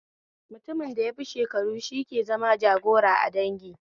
Mutumin da yafi kowa shekaru shi ke zama jagoira a dangi